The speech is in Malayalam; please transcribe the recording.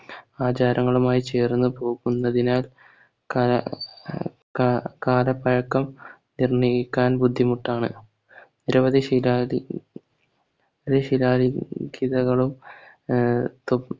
ആചാരങ്ങളുമായി ചേർന്നു പോകുന്നതിനാൽ കല ഏർ കാ കാലപ്പഴക്കം എന്നീക്കാൻ ബുദ്ധിമുട്ടാണ് നിരവധി ശിരാദി ശിലാലിഖിതങ്ങളും ആഹ് തു